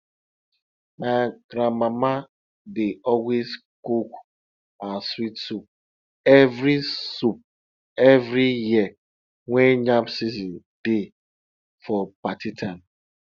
my grandmama dey always cook her sweet soup every soup every year when yam season dey for party time